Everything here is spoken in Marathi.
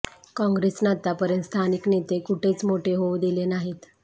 कॉग्रेसनं आतापर्यंत स्थानिक नेते कुठेच मोठे होऊ दिले नाहीत